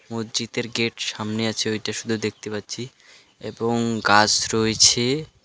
মসজিদের গেট সামনে আছে ওইটা শুধু দেখতে পাচ্ছি এবং গাছ রয়েছে .